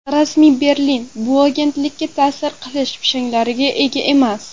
Rasmiy Berlin bu agentlikka ta’sir qilish pishanglariga ega emas.